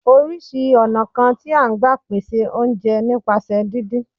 Oríṣìí ọ̀nà kan tí à ń gbà pèsè oúnjẹ ni nípasẹ̀ díndín